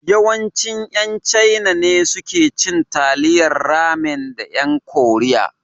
Yawanci ƴan Chaina ne suke cin Taliyan Ramen da ƴan Koriya.